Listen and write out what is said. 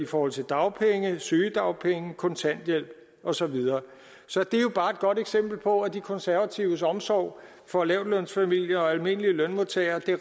forhold til dagpenge sygedagpenge kontanthjælp og så videre så det er jo bare et godt eksempel på at de konservatives omsorg for lavtlønsfamilier og almindelige lønmodtagere